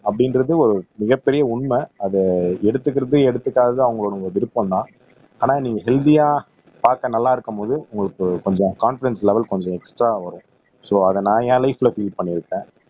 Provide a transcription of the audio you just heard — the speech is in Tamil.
அப்படின்றது ஒரு மிகப்பெரிய உண்மை அது எடுத்துக்கிறதும் எடுத்துக்காததும் அவங்களோட விருப்பம்தான் ஆனா நீங்க ஹெல்த்தியா பாக்க நல்லா இருக்கும்போது உங்களுக்கு கொஞ்சம் கான்பிடென்ஸ் லெவல் கொஞ்சம் எக்ஸ்ட்ரா வரும் சோ அத நான் என் லைப்ல பீல் பண்ணியிருக்கேன்